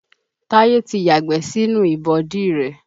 Táyé ti yàgbẹ́ sínú ìbọ̀dí rẹ